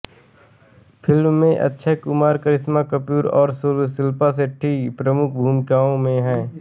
film में अक्षय कुमार करिश्मा कपूर और शिल्पा शेट्टी प्रमुख भूमिकाओं में हैं